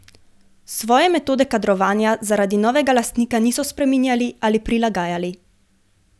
Svoje metode kadrovanja zaradi novega lastnika niso spreminjali ali prilagajali.